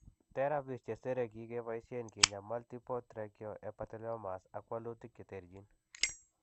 Therapies chesere kikebaysen kinyaay multiple trichoepitheliomas, ak walutik che terchin.